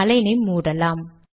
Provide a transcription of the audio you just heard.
align ஐ மூடலாம்